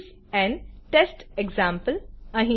this is an test example